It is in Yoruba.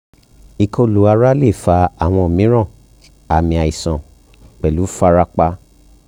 ikolu ara le fa awọn miiran aami aisan pẹlu farapa